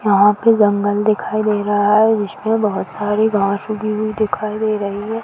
यहा पे जंगल दिखाई दे रहा है। जिसमे बहोत सारी घास उगी हुई दिखाई दे रही है।